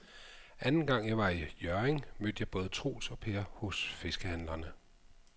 Anden gang jeg var i Hjørring, mødte jeg både Troels og Per hos fiskehandlerne.